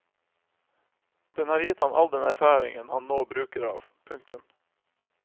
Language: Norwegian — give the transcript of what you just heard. Den har gitt ham all den erfaringen han nå bruker av. punktum